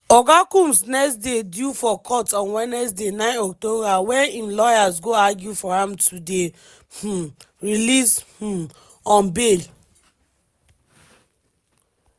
oga combs next dey due for court on wednesday 9 october wen im lawyers go argue for am to dey um released um on bail.